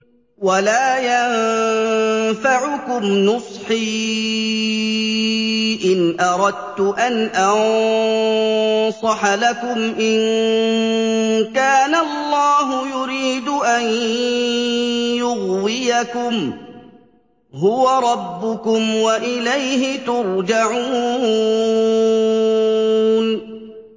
وَلَا يَنفَعُكُمْ نُصْحِي إِنْ أَرَدتُّ أَنْ أَنصَحَ لَكُمْ إِن كَانَ اللَّهُ يُرِيدُ أَن يُغْوِيَكُمْ ۚ هُوَ رَبُّكُمْ وَإِلَيْهِ تُرْجَعُونَ